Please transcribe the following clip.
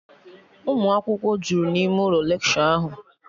Unu akwụkwọ jụrụ n'ime ụlọ lekshọ ahụ